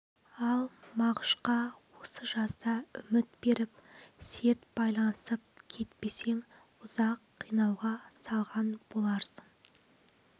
ал мағышқа осы жазда үміт беріп серт байласып кетпесең ұзақ қинауға салған боларсың